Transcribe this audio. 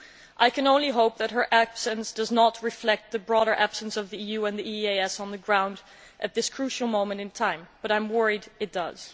I can only hope that her absence does not reflect the broader absence of the EU and the EAS on the ground at this crucial moment in time, but I am worried that it does.